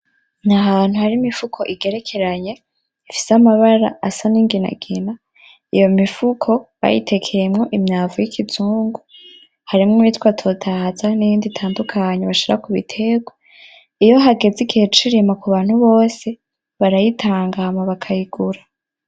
Aho hantu harimwo imifuko igerekeranye ifise amabara asa n'inginagina. Iyo mifuko bayitekeyemwo imyavu y'ikizungu. Harimwo iyitwa totahaza n'iyindi itandukanye bashira kubitegwa. Iyo hageze igihe c'irima kubantu bose barayitanga abantu bakayigura.